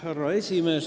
Härra esimees!